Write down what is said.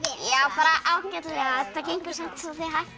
bara ágætlega það gengur samt svolítið hægt